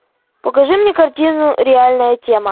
покажи мне картину реальная тема